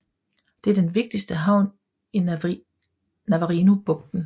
Det er den vigtigste havn i Navarinobugten